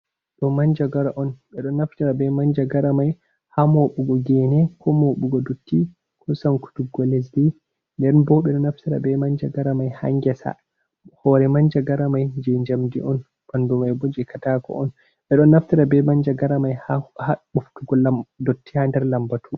Do manjagara on, ɓe ɗon naftara be manja garamai ha moɓugo gene ko moɓugo dotti ko sankutuggo lesdi, nden bo ɓe ɗo naftira be manja garamai ha ngesa, hore manja garamai je njamdi on ɓandumai boje katako on, ɓe don naftira be manja garamai ha nɓoftugo dotti ha nder lambatu.